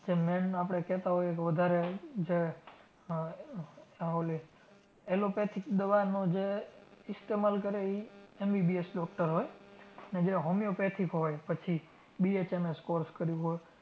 જે main આપણે કહેતાં હોય કે વધારે જે આહ આહ ઓલી allopathic દવાનો જે ઇસ્તમાલ કરે ઈ MBBS DOCTOR હોય અને જે homeopathic હોય પછી BHMS course કર્યું હોય